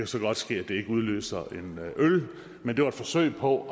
så godt ske at det ikke udløser en øl men det var et forsøg på